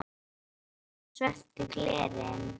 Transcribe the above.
Sá ekki inn fyrir svört glerin.